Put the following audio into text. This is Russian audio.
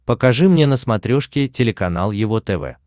покажи мне на смотрешке телеканал его тв